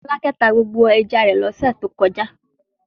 Fọlákẹ́ tá gbogbo ẹja rẹ̀ lọ́sẹ̀ tó kọjá.